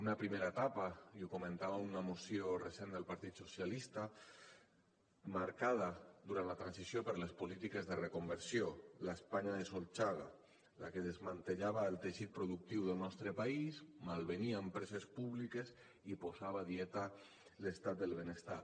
una primera etapa i ho comentava una moció recent del partit socialistes marcada durant la transició per les polítiques de reconversió la españa de solchaga la que desmantellava el teixit productiu del nostre país malvenia empreses públiques i posava a dieta l’estat del benestar